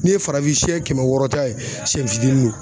Ne ye farafinsɛ kɛmɛ wɔɔrɔ ta ye sɛ fitinin no